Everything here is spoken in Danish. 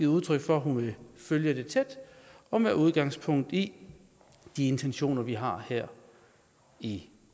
udtryk for at hun vil følge det tæt og med udgangspunkt i de intentioner vi har her i